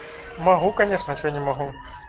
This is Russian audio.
могу конечно что не могу